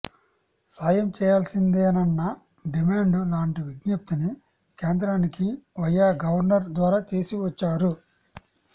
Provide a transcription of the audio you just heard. సాయం చేయాల్సిందేనన్న డిమాండ్ లాంటి విజ్ఞప్తిని కేంద్రానికి వయా గవర్నర్ ద్వారా చేసి వచ్చారు